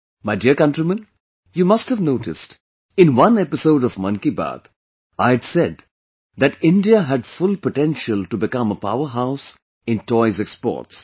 My dear countrymen, you must have noticed, in one episode of 'Mann Ki Baat' I had said that India has full potential to become a Powerhouse in Toys Exports